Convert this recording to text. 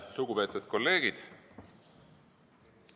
Lugupeetud kolleegid!